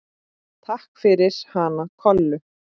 Takk fyrir hana Kollu.